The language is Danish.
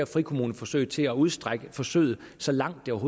frikommuneforsøg til at udstrække forsøget så langt det